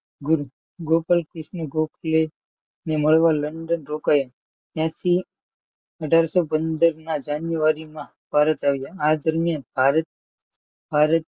ગુરુ ગોપાલ કૃષ્ણ ગોખલે ને મળવા લંડન રોકાયા. ત્યાંથી અઢારસો પંદર ના જાન્યુઆરીમાં ભારત આવ્યા આ દરમિયાન ભારત ભારત